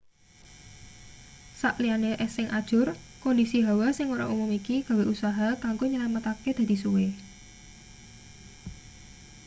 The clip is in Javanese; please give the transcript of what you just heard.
sak liyane es sing ajur kondisi hawa sing ora umum iki gawe usaha kanggo nyelametake dadi suwe